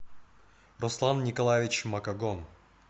руслан николаевич макогон